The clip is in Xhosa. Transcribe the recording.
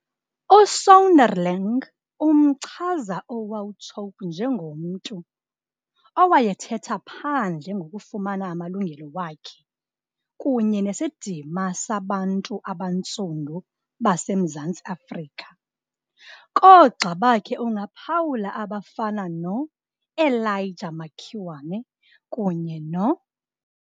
USonderling umchaza uWauchope njengomntu, owayethetha phandle ngokufuna amalungelo wakhe kunye nesidima sabantu abantsundu baseMzantsi Afrika. Koogxa bakhe ungaphawula abafana no-Elijah Makiwane, kunye no.